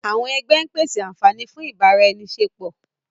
àwọn ẹgbẹ ń pese anfani fun ibaraenisepo.